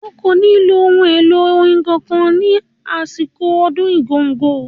O kò ní lo ohun èlò orin kankan ní àsìkò ọdún Igogo.